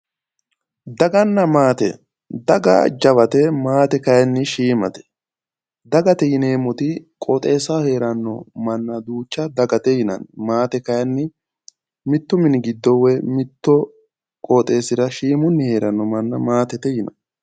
Daganna maate, daga jawate maate kayinni shiimate. Dagate yineemmoti qooxeessaho heeranno manna duucha dagate yinanni. Maate kayinni mittu mini giddo woy mittu qooxeessira shiimunni heeranno manna maatete yinanni.